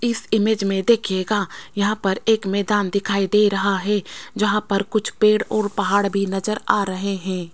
इस इमेज में देखिएगा यहाँ पर एक मैदान दिखाई दे रहा है जहाँ पर कुछ पेड़ और पहाड़ भी नजर आ रहे हैं।